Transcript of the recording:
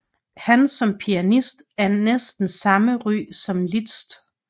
Han var som pianist af næsten samme ry som Liszt